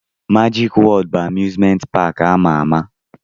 Majik Wọọd bụ amuzment paki ama ama.